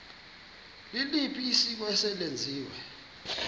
liliphi isiko eselenziwe